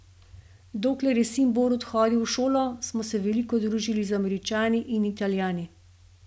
Dokler je sin Borut hodil v šolo, smo se veliko družili z Američani in Italijani.